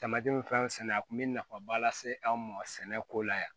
Tamati minfɛn sɛnɛ a kun bɛ nafaba lase anw ma sɛnɛko la yan